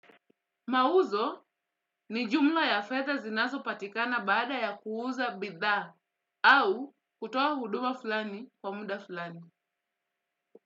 Mauzo ni jumla ya fedha znazopatikana baada ya kuuza bidhaa au kutoa huduma fulani kwa muda fulani.